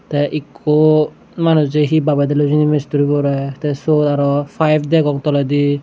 te ikko manuje he babedelloi hijeni mistriborey te suot aro payep degong toledi.